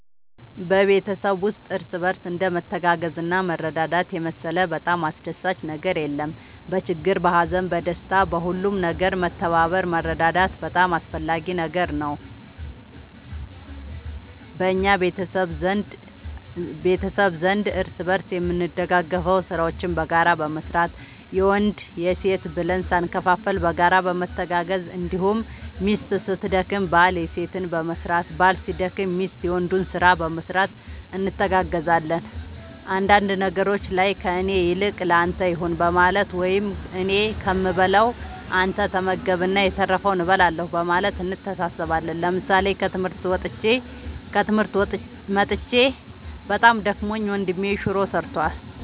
በቤተሰብ ውስጥ እርስ በርስ እንደ መተጋገዝና መረዳዳት የመሰለ በጣም አስደሳች ነገር የለም በችግር በሀዘን በደስታ በሁሉም ነገር መተባበር መረዳዳት በጣም አስፈላጊ ነገር ነው በእኛ ቤተሰብ ዘንድ እርስ በርስ የምንደጋገፈው ስራዎችን በጋራ በመስራት የወንድ የሴት ብለን ሳንከፋፈል በጋራ በመተጋገዝ እንዲሁም ሚስት ስትደክም ባል የሴትን በመስራት ባል ሲደክም ሚስት የወንዱን ስራ በመስራት እንተጋገዛለን አንዳንድ ነገሮች ላይ ከእኔ ይልቅ ለአንተ ይሁን በማለት ወይም እኔ ከምበላ አንተ ተመገብ እና የተረፈውን እበላለሁ በማለት እንተሳሰባለን ምሳሌ ከትምህርት መጥቼ በጣም ደክሞኝ ወንድሜ ሹሮ ሰርቷል።